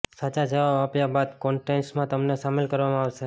સાચા જવાબ આપ્યા બાદ કોન્ટેસ્ટમાં તમને સામેલ કરવામાં આવશે